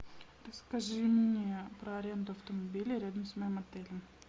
расскажи мне про аренду автомобиля рядом с моим отелем